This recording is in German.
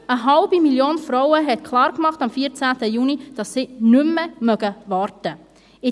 Über eine halbe Million Frauen machten am 14. Juni klar, dass sie nicht mehr warten mögen.